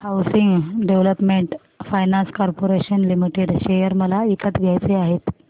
housing development finance corporation limited share मला विकत घ्यायचे आहेत